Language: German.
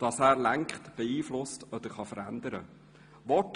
dass er lenkt, beeinflusst oder verändern kann.